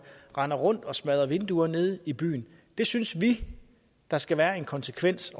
render rundt og smadrer vinduer nede i byen synes vi der skal være en konsekvens